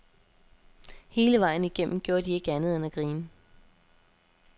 Hele vejen igennem gjorde de ikke andet end at grine.